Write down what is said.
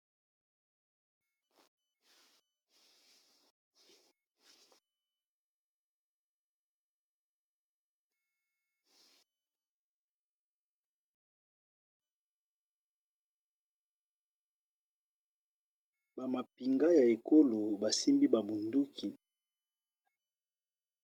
bamapinga ya ekolo basimbi bamunduki